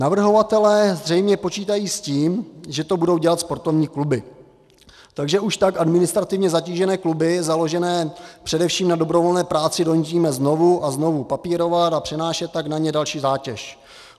Navrhovatelé zřejmě počítají s tím, že to budou dělat sportovní kluby, takže už tak administrativně zatížené kluby, založené především na dobrovolné práci, donutíme znovu a znovu papírovat, a přenášet tak na ně další zátěž.